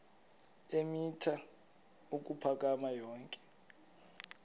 eemitha ukuphakama yonke